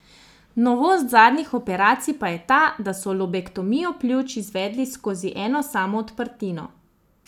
Novost zadnjih operacij pa je ta, da so lobektomijo pljuč izvedli skozi eno samo odprtino.